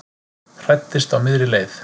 Hræddist á miðri leið